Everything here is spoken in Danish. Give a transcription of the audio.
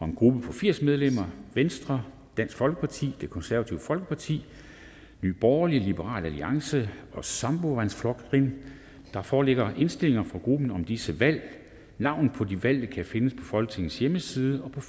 en gruppe på firs medlemmer venstre dansk folkeparti det konservative folkeparti nye borgerlige liberal alliance og sambandsflokkurin der foreligger indstilling fra grupperne om disse valg navnene på de valgte kan findes på folketingets hjemmeside og på